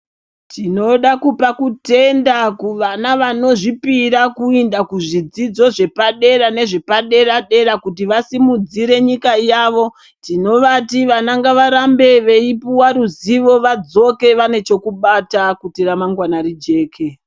Tinoda kupa kutenda kuvana vanozvipira kuinda kuzvidzidzo zvepadera nezvepadera-dera kuti vasimudzire nyika yavo, tinovati vana ngavarambe veipuwa ruzivo vadzoke vane chokubata kuti ramangwana rijeke.